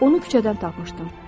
Onu küçədən tapmışdım.